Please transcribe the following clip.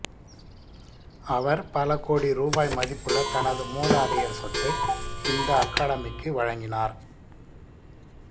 அவர் பல கோடி ரூபாய் மதிப்புள்ள தனது மூதாதையர் சொத்தை இந்த அகாடமிக்கு வழங்கினார்